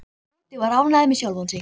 Tóti var ánægður með sjálfan sig.